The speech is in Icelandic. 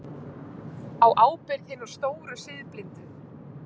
Á ábyrgð hinna stóru siðblindu.